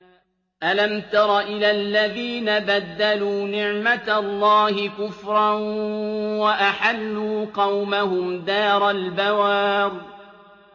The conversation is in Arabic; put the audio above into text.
۞ أَلَمْ تَرَ إِلَى الَّذِينَ بَدَّلُوا نِعْمَتَ اللَّهِ كُفْرًا وَأَحَلُّوا قَوْمَهُمْ دَارَ الْبَوَارِ